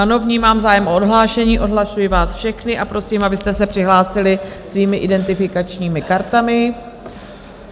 Ano, vnímám zájem o odhlášení, odhlašuji vás všechny a prosím, abyste se přihlásili svými identifikačními kartami.